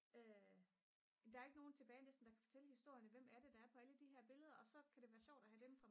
der er jo ikke nogen tilbage næsten der kan fortælle historierne hvem er det der er på alle de her billeder og så kan det være sjovt at have dem